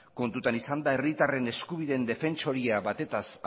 kontuan izanda herritarren eskubideen defentsoria batez